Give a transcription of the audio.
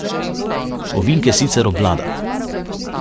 Ovinke sicer obvlada.